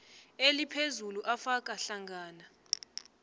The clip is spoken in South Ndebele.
eliphezulu afaka hlangana